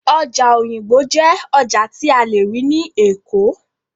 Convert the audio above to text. Ọjà Òyìngbò jẹ́ ọjà tí a lè rí ní Èkó